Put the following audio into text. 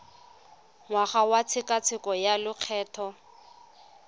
ngwaga wa tshekatsheko ya lokgetho